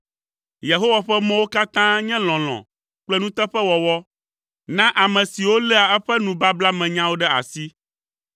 Yehowa ƒe mɔwo katã nye lɔlɔ̃ kple nuteƒewɔwɔ na ame siwo léa eƒe nubablamenyawo ɖe asi.